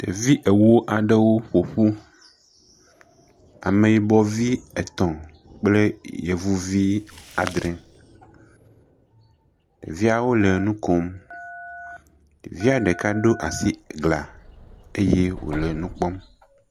Ɖevi ewo aɖewo ƒo ƒu. Ame yibɔ vi etɔ̃ kple yevuvi adrɛ. Ɖeviawo le nu kom. Ɖevia ɖeka ɖo asi glã eye wole nu kpɔm.